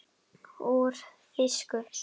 Úr þýsku